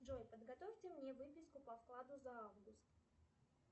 джой подготовьте мне выписку по вкладу за август